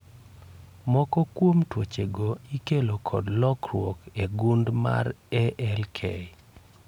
Moko kuom tuoche go ikelo kod lokruok e gund mar ALK